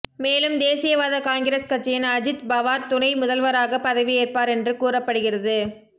மேலும் தேசியவாத காங்கிரஸ் கட்சியின் அஜித் பவார் துணை முதல்வராக பதவி ஏற்பார் என்று கூறப்படுகிறது